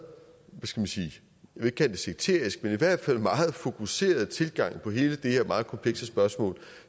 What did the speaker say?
jeg det sekteriske men i hvert fald meget fokuserede tilgang til hele det her meget komplekse spørgsmål